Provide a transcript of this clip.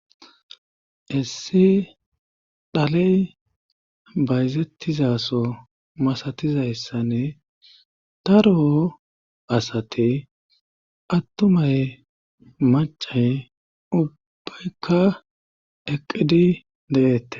Issi dhaley bayzettizaso masatizayssanne taro asate attumay macay ubbeykka eqqidi deeette.